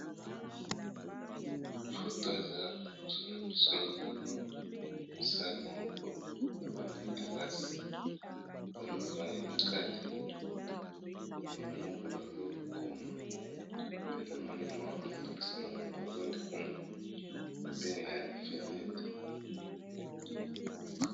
Photo oyo eza liboso nangai namoni eza nakati salle moko boye eza neti eza kelasi